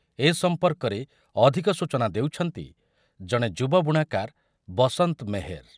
ଏ ସମ୍ପର୍କରେ ଅଧିକ ସୂଚନା ଦେଉଛନ୍ତି ଜଣେ ଯୁବ ବୁଣାକାର ବସନ୍ତ ମେହେର